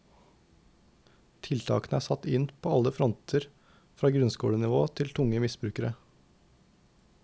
Tiltakene er satt inn på alle fronter, fra grunnskolenivå til tunge misbrukere.